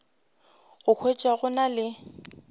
go thwe go na le